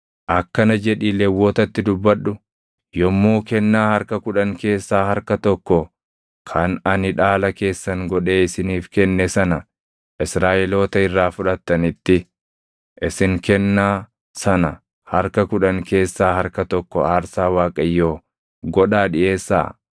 “Akkana jedhii Lewwotatti dubbadhu: ‘Yommuu kennaa harka kudhan keessaa harka tokko kan ani dhaala keessan godhee isiniif kenne sana Israaʼeloota irraa fudhatanitti isin kennaa sana harka kudhan keessaa harka tokko aarsaa Waaqayyoo godhaa dhiʼeessaa.